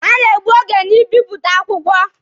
Ha na-egbu oge na ịbịpụta akwụkwọ.